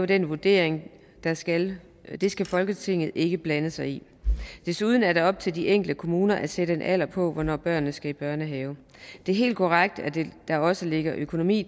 den vurdering det skal det skal folketinget ikke blande sig i desuden er det op til de enkelte kommuner at sætte en alder på hvornår børnene skal i børnehave det er helt korrekt at der også ligger økonomi